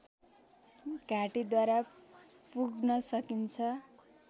घाटीद्वारा पुग्न सकिन्छ